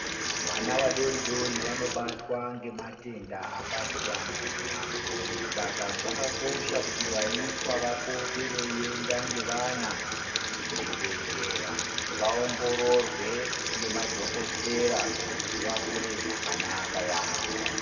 Vana vadori dori vanobatwa ngematenda akasiyana siyana saka zvakakosha kuti vaiswa vapote veienda ngevana kuzvibhedhlera vaongororwe ngemadhokotera kuti vakure zvakanaka yaamho.